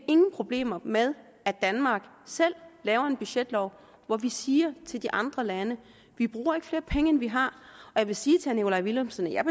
ingen problemer med at danmark selv laver en budgetlov hvor vi siger til andre lande vi bruger ikke flere penge end vi har jeg vil sige til herre nikolaj villumsen at jeg